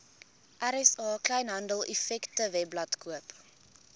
rsa kleinhandeleffektewebblad koop